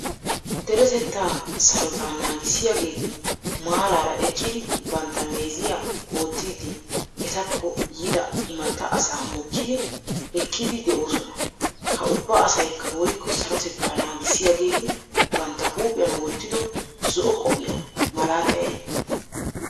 Deretettaa sarotta naagissiyageeti maarara eqqidi bantta meeziyaa oottidi ettako yiida immata asa mokkidi ekkidi de'osona. Ha ubba asaykka woykko sarotetta naagisiyaageeti bantta huuphphiyan wottido zo'o kopiyawu malatay aybe?